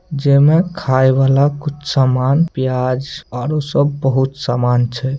जे मे खाय वाला कुछ सामान प्याज आलू सब बहुत सामान छै।